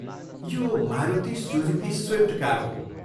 यो Maruti Suzuki Swift car हो।